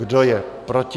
Kdo je proti?